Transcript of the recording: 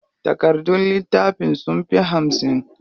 Takardun littafin sunfi hamsin.